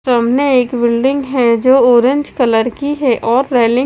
सामने एक बिल्डिंग है जो ऑरेंज कलर की है और रेलिंग --